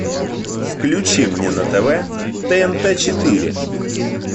включи мне на тв тнт четыре